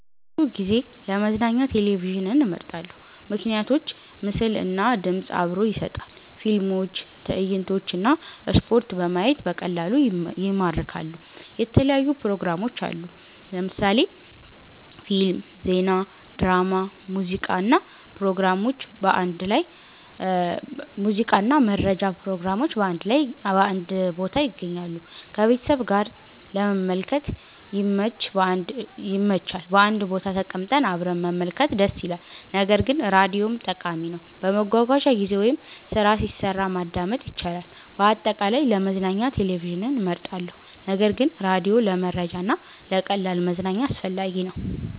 ብዙ ጊዜ ለመዝናኛ ቴሌቪዥንን እመርጣለሁ። ምክንያቶች ምስል እና ድምፅ አብሮ ይሰጣል – ፊልሞች፣ ትዕይንቶች እና ስፖርት በማየት በቀላሉ ይማርካሉ። የተለያዩ ፕሮግራሞች አሉ – ፊልም፣ ዜና፣ ድራማ፣ ሙዚቃ እና መረጃ ፕሮግራሞች በአንድ ቦታ ይገኛሉ። ከቤተሰብ ጋር ለመመልከት ይመች – በአንድ ቦታ ተቀምጠን አብረን መመልከት ደስ ይላል። ነገር ግን ራዲዮም ጠቃሚ ነው፤ በመጓጓዣ ጊዜ ወይም ስራ ሲሰራ ማዳመጥ ይቻላል። አጠቃላይ፣ ለመዝናኛ ቴሌቪዥን እመርጣለሁ ነገር ግን ራዲዮ ለመረጃ እና ለቀላል መዝናኛ አስፈላጊ ነው።